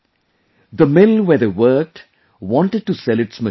The mill where they worked wanted to sell its machine too